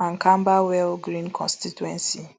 and camberwell green constituency